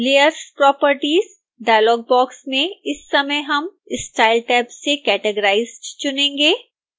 layers properties dialog box में इस समय हम style टैब से categorized चुनेंगे